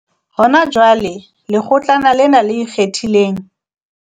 Hona jwale, Lekgotlana lena le Ikgethileng